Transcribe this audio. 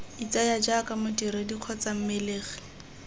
itseye jaaka modiredi kgotsa mmelegi